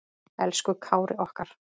Elsku Kári okkar.